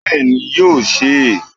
Bẹ́ẹ̀ni, yóò se é